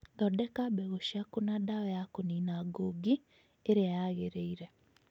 Thondeka mbegũ ciaku na dawa ya kũnina ngũngi ĩrĩa yagĩrĩire